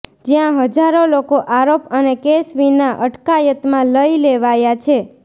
જ્યાં હજારો લોકો આરોપ અને કેસ વિના અટકાયતમાં લઈ લેવાયા છે